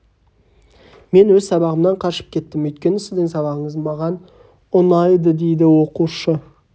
мен өз сабағымнан қашып кеттім өйткені сіздің сабағыңыз маған ұнайды дейді оқушы